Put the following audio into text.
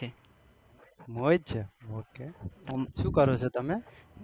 મોહિત છે શું કરો શો તમે?